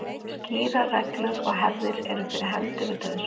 Skýrar reglur og hefðir eru fyrir hendi við dauðsfall.